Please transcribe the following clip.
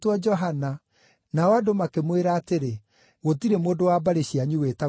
Nao andũ makĩmwĩra atĩrĩ, “Gũtirĩ mũndũ wa mbarĩ cianyu wĩtagwo rĩĩtwa rĩu!”